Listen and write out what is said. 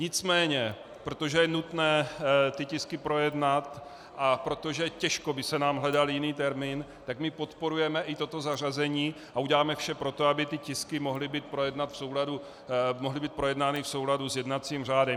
Nicméně protože je nutné tyto tisky projednat a protože těžko by se nám hledal jiný termín, tak my podporujeme i toto zařazení a uděláme vše pro to, aby ty tisky mohly být projednány v souladu s jednacím řádem.